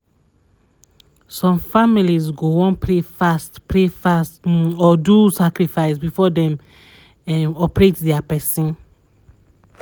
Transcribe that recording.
some families go wan pray fast pray fast um or do sacrifice before dem[um]operate dia person